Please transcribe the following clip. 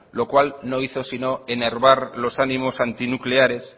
lo cual no hizo sino enervar los ánimos antinucleares